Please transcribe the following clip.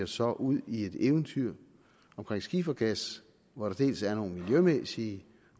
sig ud i et eventyr om skifergas hvor der dels er nogle miljømæssige